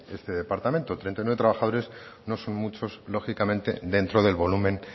este departamento treinta y nueve trabajadores no son muchos lógicamente dentro del volumen